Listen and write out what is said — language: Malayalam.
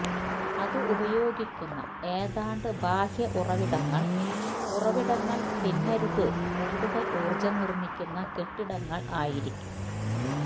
അത് ഉപയോഗിക്കുന്ന ഏതാണ്ട് ബാഹ്യ ഉറവിടങ്ങൾ ഉറവിടങ്ങൾ തിന്നരുത് കൂടുതൽ ഊർജ്ജം നിർമ്മിക്കുന്ന കെട്ടിടങ്ങൾ ആയിരിക്കും